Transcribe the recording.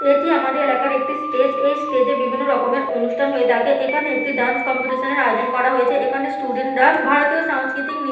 এটি আমাদের এলাকার একটি স্টেজ । এই স্টেজ -এ বিভিন্ন রকমের অনুষ্ঠান হয়ে থাকে। এখানে একটি ডান্স কম্পিটিশ -নের আয়োজন করা হয়েছে। এখানে স্টুডেন্ট -রা ভারতীয় সংস্কৃতিক নৃত্য--